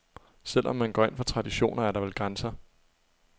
Selv om man går ind for traditioner, er der vel grænser.